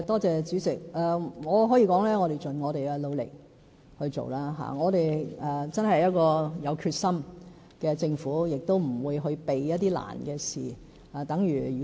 主席，我可以說我們會盡我們的努力來進行，我們真的是一個有決心的政府，也不會逃避困難的事情。